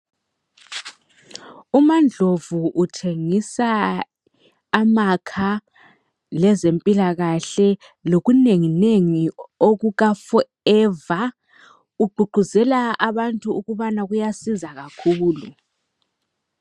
uMandlovu uthengisa amakha lezempilakahle lokunenginengi okuka Forever ugqugquzela abantu ukubana kuyasiza kakhulu